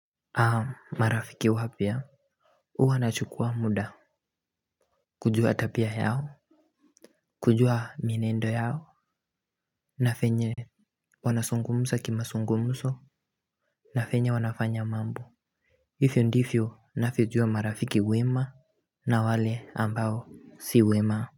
Aaam marafiki wapya huwa nachukua muda kujua tabia yao kujua mienendo yao na venye wanazungumza kimazungumzo na venye wanafanya mambo hivyo ndivyo ninavyojua marafiki wema na wale ambao si wema.